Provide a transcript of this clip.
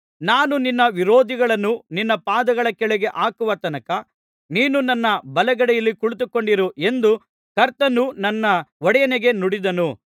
ನಾನು ನಿನ್ನ ವಿರೋಧಿಗಳನ್ನು ನಿನ್ನ ಪಾದಗಳ ಕೆಳಗೆ ಹಾಕುವ ತನಕ ನೀನು ನನ್ನ ಬಲಗಡೆಯಲ್ಲಿ ಕುಳಿತುಕೊಂಡಿರು ಎಂದು ಕರ್ತನು ನನ್ನ ಒಡೆಯನಿಗೆ ನುಡಿದನು